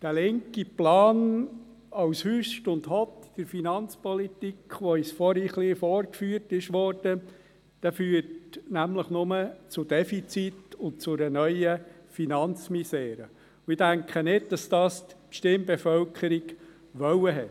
Der linke Plan, ein Hott und Hüst bei der Finanzpolitik, der uns vorhin ein wenig vorgeführt wurde, führt nämlich nur zu einem Defizit und einer neuen Finanzmisere, und ich denke nicht, dass die Stimmbevölkerung das gewollt hat.